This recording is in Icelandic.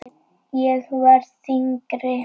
Ég verð þyngri.